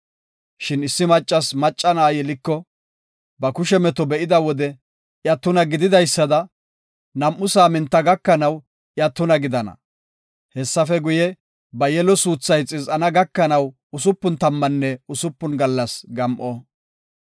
“Shin issi maccasi macca na7a yeliko, ba kushe meto be7ida wode iya tuna gididaysada nam7u saaminta gakanaw iya tuna gidana. Hessafe guye, ba yelo suuthay xiz7ana gakanaw usupun tammanne usupun gallas gam7o.